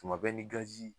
Tuma bɛɛ ni gazi